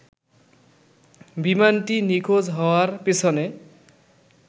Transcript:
বিমানটি নিখোঁজ হওয়ার পেছনে